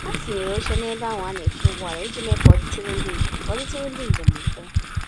Ha tinyere óche n'ebe ahụ ana eche ụgbọala iji mee k'ọditụrụ ndị njem k'ọditụrụ ndị njem mfe